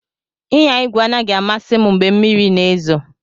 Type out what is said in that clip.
Ịnya igwe anaghị amasị m mgbe mmiri na-ezo.